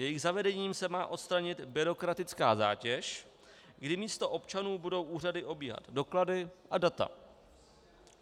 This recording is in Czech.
Jejich zavedením se má odstranit byrokratická zátěž, kdy místo občanů budou úřady obíhat doklady a data.